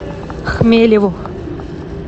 хмелеву